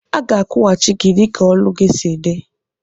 Aga akwụghachi gi dika ọlụ gi si di.